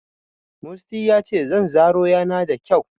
Musty yace zanzaro yana da kyau.